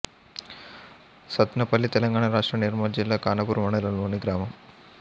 సత్నాపల్లి తెలంగాణ రాష్ట్రం నిర్మల్ జిల్లా ఖానాపూర్ మండలంలోని గ్రామం